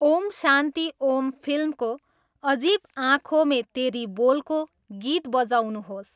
ओम शान्ति ओम फिल्मको अजिब आँखोँ मे तेरी बोलको गीत बजाउनुहोस्